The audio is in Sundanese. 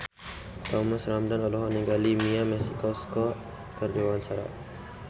Thomas Ramdhan olohok ningali Mia Masikowska keur diwawancara